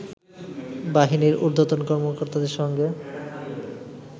বাহিনীর ঊর্ধ্বতন কর্মকর্তাদের সঙ্গে